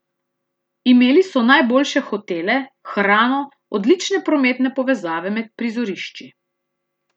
Imeli so najboljše hotele, hrano, odlične prometne povezave med prizorišči.